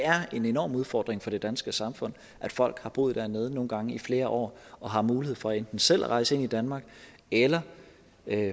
er en enorm udfordring for det danske samfund at folk har boet dernede nogle gange i flere år og har mulighed for enten selv at rejse ind i danmark eller